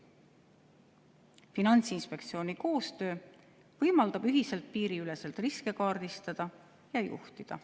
koostöö võimaldab ühiselt piiriüleselt riske kaardistada ja juhtida.